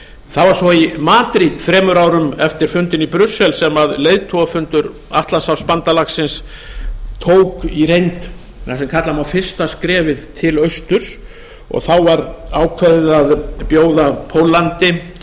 það var svo í madrid þremur árum eftir fundinn í brussel sem leiðtogafundur atlantshafsfbandalagsins tók í reynd það sem kalla má fyrsta skrefið til austur og þá var ákveðið að bjóða póllandi